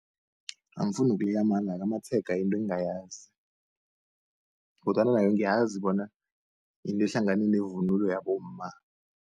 Angifuni nokuleya amala-ke amatshega yinto engingayazi kodwana nayo ngiyazi bona yinto ehlangane nevunulo yabomma.